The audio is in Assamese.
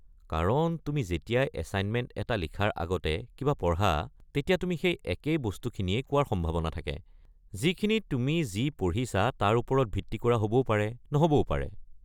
কাৰণ তুমি যেতিয়া এছাইনমেণ্ট এটা লিখাৰ আগতে কিবা পঢ়া, তেতিয়া তুমি সেই একেই বস্তুখিনিয়েই কোৱাৰ সম্ভাৱনা থাকে, যিখিনি তুমি যি পঢ়িছা তাৰ ওপৰত ভিত্তি কৰা হ'বও পাৰে নহ'বও পাৰে।